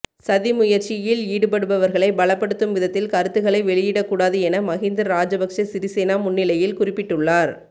சதிமுயற்சியில் ஈடுபடுபவர்களை பலப்படுத்தும் விதத்தில் கருத்துக்களை வெளியிடக்கூடாது என மகிந்த ராஜபக்ச சிறிசேன முன்னிலையில் குறிப்பிட்டுள்ளார்